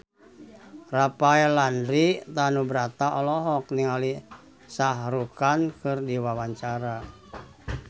Rafael Landry Tanubrata olohok ningali Shah Rukh Khan keur diwawancara